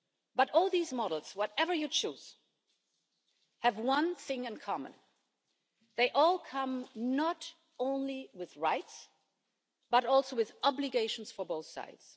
But all these models, whatever you choose, have one thing in common they all come not only with rights, but also with obligations for both sides.